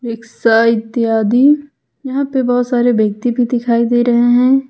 सा इत्यादि यहां पर बहुत सारे व्यक्ति भी दिखाई दे रहे हैं।